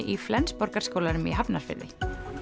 í Flensborgarskólanum í Hafnarfirði